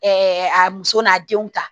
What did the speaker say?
a muso n'a denw ta